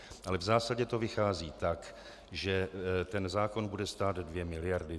Ale v zásadě to vychází tak, že ten zákon bude stát dvě miliardy.